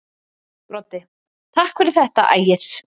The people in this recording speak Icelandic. Broddi: Takk fyrir þetta Ægir.